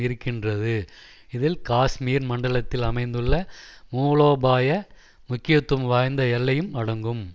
இருக்கின்றது இதில் காஷ்மீர் மண்டலத்தில் அமைந்துள்ள மூலோபாய முக்கியத்துவம் வாய்ந்த எல்லையும் அடங்கும்